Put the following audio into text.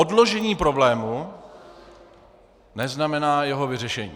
Odložení problému neznamená jeho vyřešení.